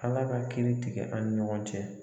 Ala ka kiiri tigɛ an ni ɲɔgɔn cɛ.